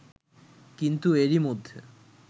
কিন্তু এরই মধ্যে